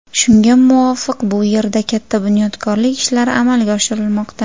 Shunga muvofiq bu yerda katta bunyodkorlik ishlari amalga oshirilmoqda.